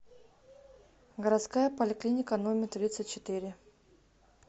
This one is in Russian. городская поликлиника номер тридцать четыре